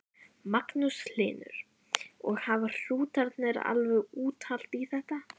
Magnús Hlynur: Og hafa hrútarnir alveg úthald í þetta?